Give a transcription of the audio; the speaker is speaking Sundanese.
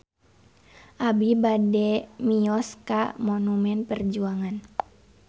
Abi bade mios ka Monumen Perjuangan